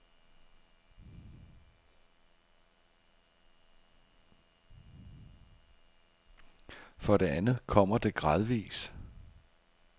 For det andet kommer det gradvis.